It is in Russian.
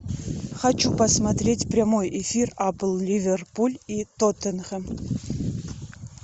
хочу посмотреть прямой эфир апл ливерпуль и тоттенхэм